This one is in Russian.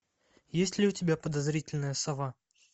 есть ли у тебя подозрительная сова